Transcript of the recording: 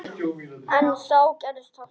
En þá gerðist það.